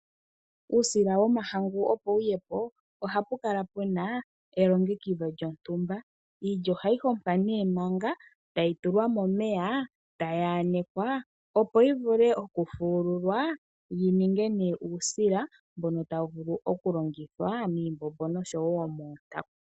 Uusila womahangu opo wuye po oha pukala puna elongekidho lyontumba. Iilya ohayi hohwa ne manga tayi tulwa momeya ,tayi yanekwa opo yi vule okufuukulwa yininge ne uusila mboka tawu longithwa miimbombo osho yo mootanku.